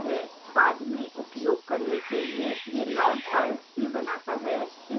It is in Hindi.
बाद में उपयोग करने के लिए यह log files भी बनाता है